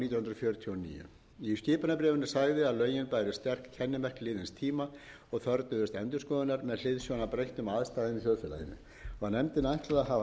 fjörutíu og níu í skipunarbréfinu sagði að lögin bæru sterk kennimerki liðins tíma og þörfnuðust endurskoðunar með hliðsjón af breyttum aðstæðum í þjóðfélaginu var nefndinni ætlað